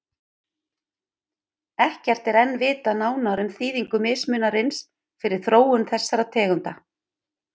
Ekkert er enn vitað nánar um þýðingu mismunarins fyrir þróun þessara tegunda.